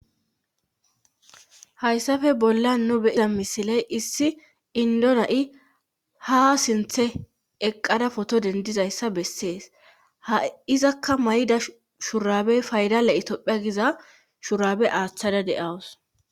Hayssafe bolla nu beiza misiley issi indona7i ha sinthe eqqada foto dendizayssa bessees ha izakka may7ida shurabey faydale itophiya giza shurabe aaththada de7awus